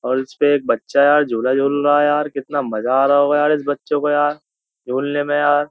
और इस पे एक बच्चा यार झूला झूल रहा है यार कितना मजा आ रहा होगा यार इस बच्चे को यार झूलने में यार।